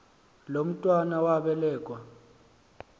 lo mntwana wabelekua